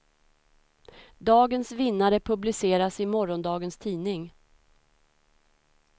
Dagens vinnare publiceras i morgondagens tidning.